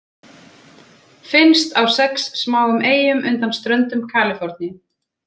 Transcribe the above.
Finnst á sex smáum eyjum undan ströndum Kaliforníu.